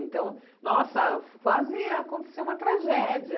Então, nossa, quase aconteceu uma tragédia.